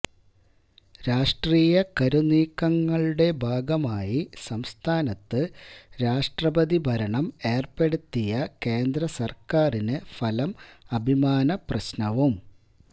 രാഷ്ട്രീയ കരുനീക്കങ്ങളുടെ ഭാഗമായി സംസ്ഥാനത്ത് രാഷ്ട്രപതി ഭരണം ഏര്പ്പെടുത്തിയ കേന്ദ്രസര്ക്കാരിന് ഫലം അഭിമാനപ്രശ്നവും